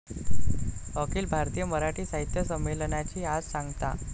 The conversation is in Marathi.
अखिल भारतीय मराठी साहित्य संमेलनाची आज सांगता